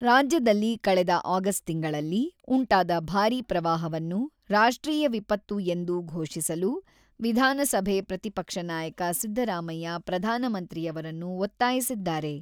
ರಾಜ್ಯದಲ್ಲಿ ಕಳೆದ ಆಗಸ್ಟ್ ತಿಂಗಳಲ್ಲಿ ಉಂಟಾದ ಭಾರೀ ಪ್ರವಾಹವನ್ನು ರಾಷ್ಟ್ರೀಯ ವಿಪತ್ತು ಎಂದು ಘೋಷಿಸಲು, ವಿಧಾನಸಭೆ ಪ್ರತಿಪಕ್ಷ ನಾಯಕ ಸಿದ್ದರಾಮಯ್ಯ ಪ್ರಧಾನಮಂತ್ರಿಯವರನ್ನು ಒತ್ತಾಯಿಸಿದ್ದಾರೆ.